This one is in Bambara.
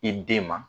I den ma